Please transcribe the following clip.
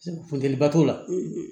Funteni ba t'o la